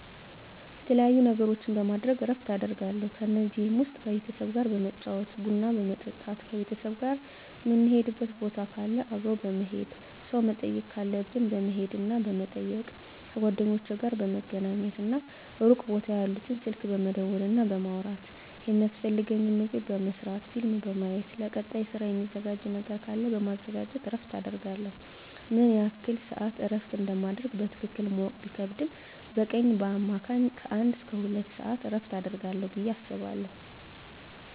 የተለያዩ ነገሮችን በማድረግ እረፍት አደርጋለሁ ከነዚህም ውስጥ ከቤተሰብ ጋር በመጫወት ቡና በመጠጣት ከቤተሰብ ጋር ምንሄድበት ቦታ ካለ አብሮ በመሄድ ሰው መጠየቅ ካለብን በመሄድና በመጠየቅ ከጓደኞቼ ጋር በመገናኘትና ሩቅ ቦታ ያሉትን ስልክ በመደወልና በማውራት የሚያስፈልገኝን ምግብ በመስራት ፊልም በማየት ለቀጣይ ስራ ሚዘጋጅ ነገር ካለ በማዘጋጀት እረፍት አደርጋለሁ። ምን ያህል ስዓት እረፍት እንደማደርግ በትክክል ማወቅ ቢከብድም በቀን በአማካኝ ከአንድ እስከ ሁለት ሰዓት እረፍት አደርጋለሁ ብየ አስባለሁ።